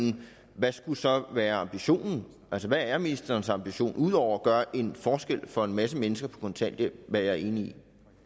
hvad skulle så være ambitionen altså hvad er ministerens ambition ud over at gøre en forskel for en masse mennesker på kontanthjælp hvad jeg er enig i